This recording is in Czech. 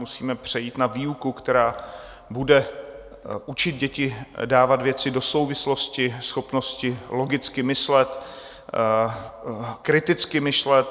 Musíme přejít na výuku, která bude učit děti dávat věci do souvislosti, schopnosti logicky myslet, kriticky myslet.